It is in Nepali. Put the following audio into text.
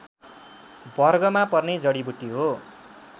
वर्गमा पर्ने जडिबुटी हो